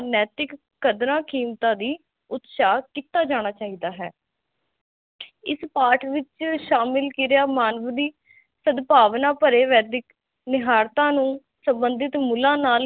ਕਦਰਾ ਕੀਮਤਾ ਲਈ ਉਤਸਾਹ ਕੀਤਾ ਜਾਣਾ ਚਾਹਿਦਾ ਹੈ ਇਸ ਪਾਠ ਵਿਚ ਸ਼ਾਮਿਲ ਕਿਰਿਆ ਮਾਨਵ ਦੀ ਸਦਭਾਵਨਾ ਭਰੇ ਵੈਦਿਕ ਨਿਹਾਰਤਾ ਨੂੰ ਸੰਬਧਿਤ ਮੁਲਾਂ ਨਾਲ ਹੀ